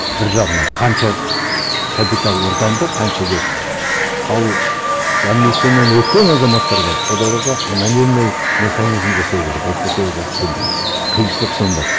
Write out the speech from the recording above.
бір жағына қанша капитал ортанды қанша кетті ал амнистиядан өткен азаматтарға анонимный механизм жасау керек әйтпесе олар сенбейді қиыншылық сонда